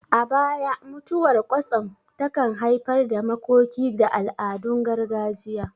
A baya, mutuwar kwatsam takan haifar da makoki da al'adun gargajiya.